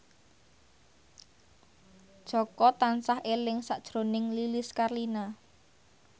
Jaka tansah eling sakjroning Lilis Karlina